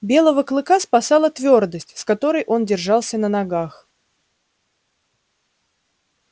белого клыка спасала твёрдость с которой он держался на ногах